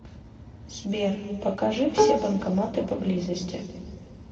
сбер покажи все банкоматы поблизости